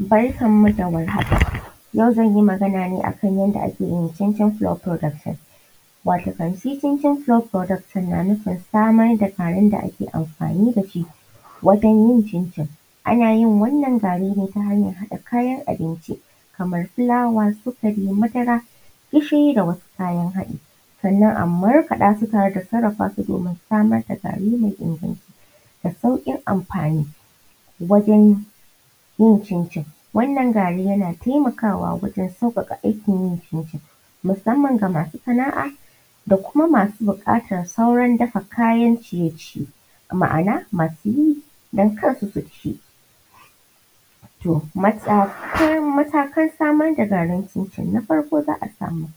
Barkanmu da warhaka. yau zan magana ne a kan yanda ake yin cincin production. Watakan shi cincin production na nufin samar da garin da ake amfani da shi wajen yin cincin. a na yin wannan zane ne ta hanyan haɗa kayan abinci kamar fulawa, sukari, madara, gishiri da wasu kayan haɗi. Sannan a markaɗa su tare da sarrafa su domin samar da gari mai inganci da saukin amfani wajen yin cincin. wannan gari yana taimakawa wajen sauƙaƙa aikin yin cincin musamman ga masu sana'a da kuma masu ɓukatar sauran dafa kayan ciye- ciye. Ma'ana masu yi don kansu su ci. To matakar samar da garin cincin na farko za a samo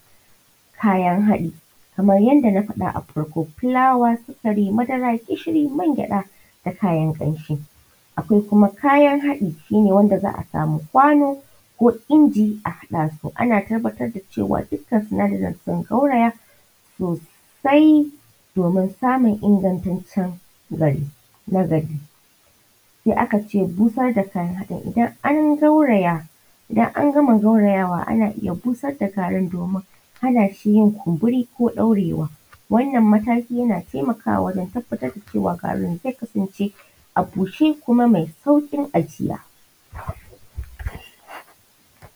kayan haɗi kamar yadda na faɗa a farko fulawa, sukari madara gishiri man gyaɗa da kayan ƙamshi. Akwai kuma kayan haɗi, shine wanda za a samu kwano ko inji a haɗa su a tabbatar da cewa dukkan sinadarin sun gauraya sosai domin samun ingantaccen gari na gari. Sai aka ce busar da kayan haɗin idan an gauraya da an gama gaurayawa ana iya busar da garin domin hana shi yin kunburi ko ɗaurewa. Wannan matakin yana taimakawa wajen tabbatar da cewa garin zai kasance a bushe kuma mai sauƙin ajiya.